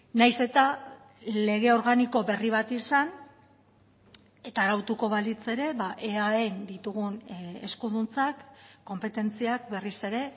nahiz eta lege organiko berri bat izan eta arautuko balitz ere eaen ditugun eskuduntzak konpetentziak berriz ere